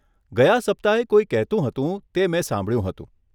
ગયાં સપ્તાહે કોઈ કહેતું હતું, તે મેં સાંભળ્યું હતું.